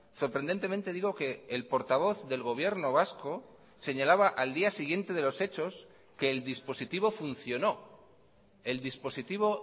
sorprendentemente digo que el portavoz del gobierno vasco señalaba al día siguiente de los hechos que el dispositivo funcionó el dispositivo